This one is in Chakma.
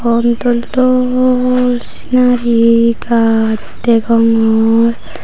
ron dol dol sinari gaaj degongor.